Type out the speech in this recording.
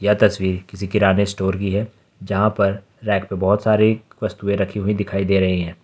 यह तस्वीर किसी किराने स्टोर की है यहां पर रैक पे बहुत सारी वस्तुएं रखी हुई दिखाई दे रही हैं।